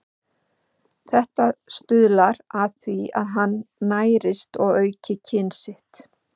Þetta stuðlar að því að hann nærist og auki kyn sitt.